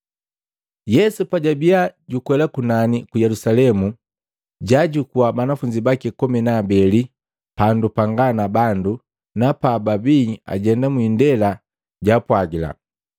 Yesu pajwabia jukwela kunani ku Yelusalemu, jwaajukua banafunzi baki komi na abeli pandu panga na bandu, na pababii ajenda mwiindela jwaapwagila,